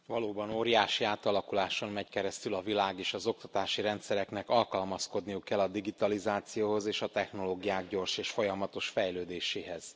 Elnök Asszony! Valóban óriási átalakuláson megy keresztül a világ, és az oktatási rendszereknek alkalmazkodniuk kell a digitalizációhoz és a technológiák gyors és folyamatos fejlődéséhez.